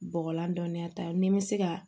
Bɔgɔlan dɔnniya ta ni n bɛ se ka